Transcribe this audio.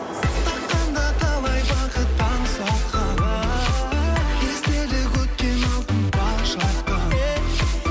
таққанда талай бақыт таң соққан ааа естелік өткен алтын бал шақтан е